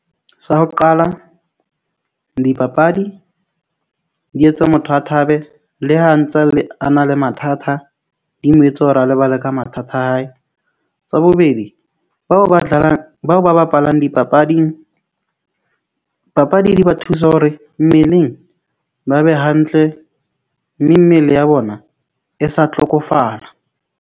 Sa ho qala dipapadi di etsa motho a thabe, le ha ntse le a na le mathata, di mo etse hore a lebale ka mathata a hae. Tsa bobedi bao ba tlalang, bao ba bapalang dipapading, papadi di ba thusa hore mmeleng ba be hantle mme mmele ya bona e sa tlhokofala.